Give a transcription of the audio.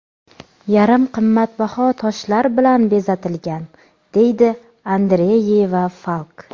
Yarim qimmatbaho toshlar bilan bezatilgan”, deydi Andreyeva-Falk.